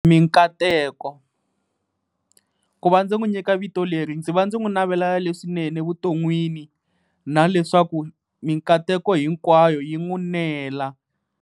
Mikateko, ku va ndzi n'wi nyika vito leri ndzi va ndzi n'wi navela leswinene vuton'wini, na leswaku mikateko hinkwayo yi n'wi nela.